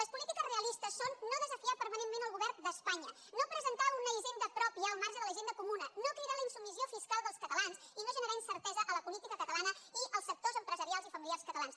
les polítiques realistes són no desafiar permanentment el govern d’espanya no presentar una hisenda pròpia al marge de la hisenda comuna no cridar a la insubmissió fiscal dels catalans i no generar incertesa a la política catalana i als sectors empresarials i familiars catalans